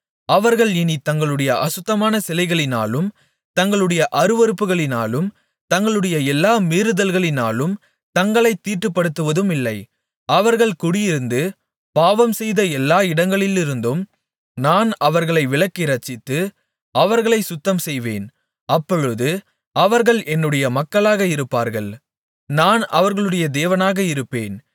அவர்கள் இனித் தங்களுடைய அசுத்தமான சிலைகளினாலும் தங்களுடைய அருவருப்புகளினாலும் தங்களுடைய எல்லா மீறுதல்களினாலும் தங்களைத் தீட்டுப்படுத்துவதுமில்லை அவர்கள் குடியிருந்து பாவம்செய்த எல்லா இடங்களிலிருந்தும் நான் அவர்களை விளக்கி இரட்சித்து அவர்களைச் சுத்தம் செய்வேன் அப்பொழுது அவர்கள் என்னுடைய மக்களாக இருப்பார்கள் நான் அவர்களுடைய தேவனாக இருப்பேன்